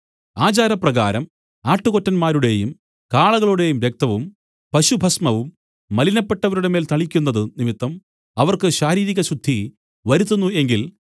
ആചാരപ്രകാരം ആട്ടുകൊറ്റന്മാരുടെയും കാളകളുടെയും രക്തവും പശുഭസ്മവും മലിനപ്പെട്ടവരുടെ മേൽ തളിക്കുന്നതു നിമിത്തം അവർക്ക് ശാരീരികശുദ്ധി വരുത്തുന്നു എങ്കിൽ